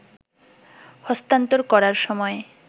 হস্তান্তর করার সময়